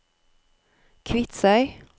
Kvitsøy